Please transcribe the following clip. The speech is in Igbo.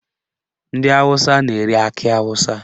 Ndị Awụsa na-ere akị awụsa